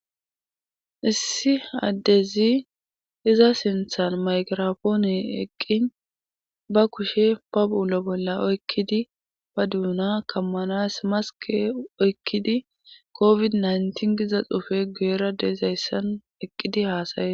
Issi addezi iza sinthan mayirapoone eqqin ba kushe pa bu7ulo bolla oykkidi ba duuna kammanas maske oykkidi kofid nytin giza xufe guera deezayssan eqqidi haasaye.